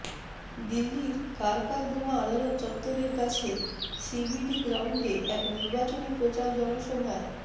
দিল্লির কারকারদুমা আদালত চত্ত্বরের কাছে সিবিডি গ্রাউন্ডে এক নির্বাচনী প্রচার জনসভায়